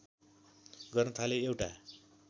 गर्न थाले एउटा